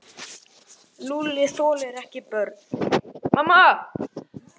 Lúlli þolir ekki börn.